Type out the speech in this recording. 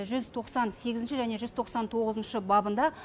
жүз тоқсан сегізінші және жүз тоқсан тоғызыншы бабында